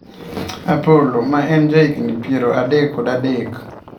Opollo ,ma en jahigni piero adek kod adek ,